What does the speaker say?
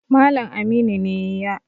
Malam Aminu ne ya